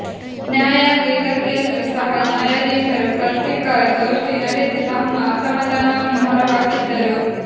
ನ್ಯಾಯಾಂಗ ಇಲಾಖೆಯಲ್ಲೂ ಸಹ ನ್ಯಾಯಾಧೀಶರು ಪತ್ರಿಕಾಗೋಷ್ಠಿ ನಡೆಸಿ ತಮ್ಮ ಅಸಮಾಧಾನವನ್ನು ಹೊರ ಹಾಕಿದ್ದರು